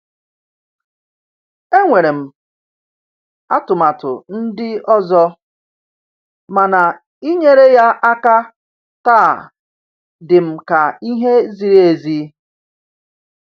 Enwere m atụmatụ ndị ọzọ, mana inyere ya aka taa dịm ka ihe ziri ezi.